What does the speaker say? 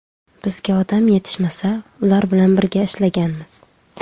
Bizga odam yetishmasa, ular bilan birga ishlaganmiz.